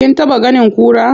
Kin taɓa ganin kura?